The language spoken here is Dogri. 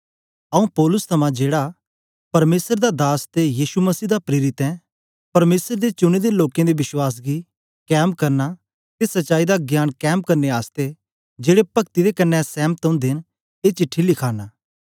आऊँ पौलुस थमां जेड़ा परमेसर दा दास ते यीशु मसीह दा प्रेरित ऐ परमेसर दे चुने दे लोकें दे विश्वास गी कैम करना ते सच्चाई दा ज्ञान कैम करने आसतै जेड़े पक्ति दे कन्ने सेंमत ओदे न ए चिट्टी लिखाना